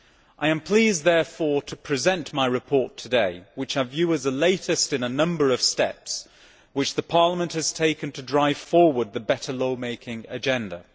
I am pleased therefore to present my report today, which I view as the latest in a number of steps which Parliament has taken to drive forward the better law making agenda.